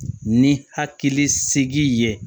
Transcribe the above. Ni hakili sigi ye